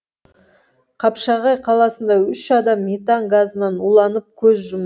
қапшағай қаласында үш адам метан газынан уланып көз жұм